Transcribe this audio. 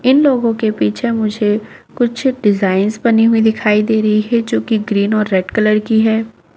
इन लोगों के पीछे मुझे कुछ डिजाइन्स बनी हुयी दिखाई दे रही है जो की ग्रीन और रेड कलर की है।